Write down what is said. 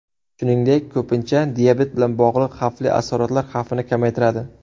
Shuningdek, ko‘pincha diabet bilan bog‘liq asoratlar xavfini kamaytiradi.